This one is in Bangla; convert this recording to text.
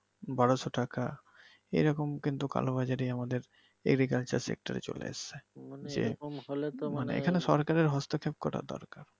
বারোশো টাকা এইরকম কিন্তু কালোবাজারি আমাদের agriculture sector এ চলে আসছে যে এইখানে মানে সরকারের হস্তক্ষেপ করা দরকার ।